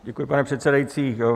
Děkuji, pane předsedající.